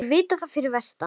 Þeir vita það fyrir vestan